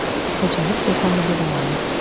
Xo‘jalik do‘koniga boramiz.